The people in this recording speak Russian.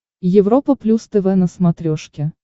европа плюс тв на смотрешке